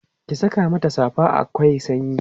ki Saka mata safa akwai sanyi